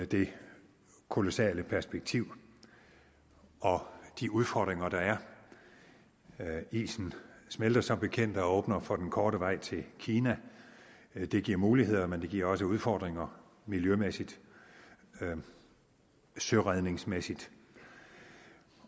det kolossale perspektiv og de udfordringer der er isen smelter som bekendt og åbner for den korte vej til kina det giver muligheder men det giver også udfordringer miljømæssigt og søredningsmæssigt